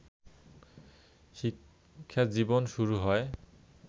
শিক্ষাজীবন শুরু হয়